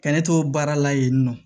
Ka ne to baara la yen nɔ